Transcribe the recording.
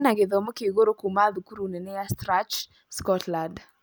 ena gĩthomo kĩa ĩgũru kuuma thukuru nene ya Stratchclde, Scotland.